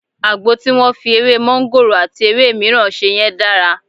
Àgbo tí wọ́n fi ewé máńgòrò àti àwọn ewé mìíràn ṣe yẹn dára.